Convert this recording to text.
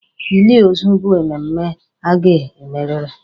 Ili ozu bụ mmemme a ga e meriri.